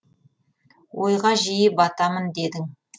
ойға жиі батамын дедің